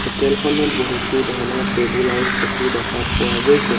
Hotel খনত বহুতো ধৰণৰ টেবুল আৰু চকী দেখা পোৱা গৈছে।